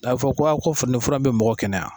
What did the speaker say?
A bi fɔ ko a ko nin fura in be mɔgɔ kɛnɛya